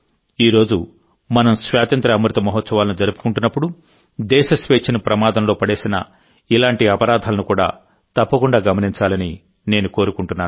ఈ రోజు మనం స్వాతంత్ర్య అమృత మహోత్సవాలను జరుపుకుంటున్నప్పుడుదేశ స్వేచ్ఛను ప్రమాదంలో పడేసిన ఇలాంటి అపరాధాలను కూడా తప్పకుండా గమనించాలని నేను కోరుకుంటున్నాను